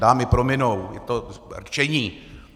Dámy prominou, je to rčení.